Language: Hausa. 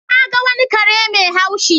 Na ga wani kare mai haushi.